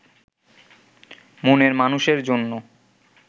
মনের মানুষের জন্য